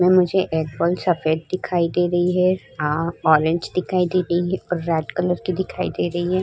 इसमें मुझे एक बॉल सफेद दिखाई दे रही है। आ ऑरेंज दिखाई दे रही है और रेड कलर की दिखाई दे रही है।